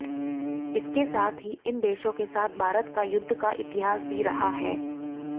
इसके साथ ही इन देशों के साथ भारत का युद्ध का इतिहास भी रहा है